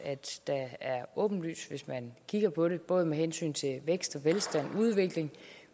er åbenlyst hvis man kigger på det både med hensyn til vækst og velstand og udvikling